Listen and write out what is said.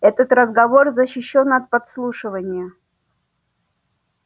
этот разговор защищён от подслушивания